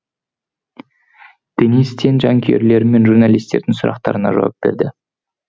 денис тен жанкүйерлер мен журналистердің сұрақтарына жауап берді